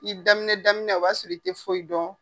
A daminɛ daminɛ o b'a sɔrɔ i tɛ foyi dɔn.